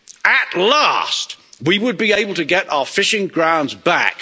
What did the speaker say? At last, we would be able to get our fishing grounds back.